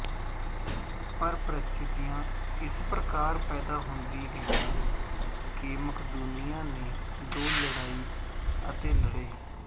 ਪਰ ਪਰਿਸਥਿਤੀਆਂ ਇਸ ਪ੍ਰਕਾਰ ਪੈਦਾ ਹੁੰਦੀ ਗਈਆਂ ਕਿ ਮਕਦੂਨੀਆਂ ਨੇ ਦੋ ਲੜਾਈ ਅਤੇ ਲੜੇ